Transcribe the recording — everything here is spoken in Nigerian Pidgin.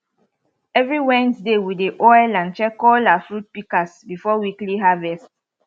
every wednesday we dey oil and check all our fruit pikas before weekly harvest